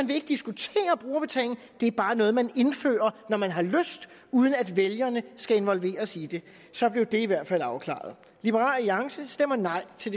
vil diskutere brugerbetaling det er bare noget man indfører når man har lyst uden at vælgerne skal involveres i det så blev det i hvert fald afklaret liberal alliance stemmer nej til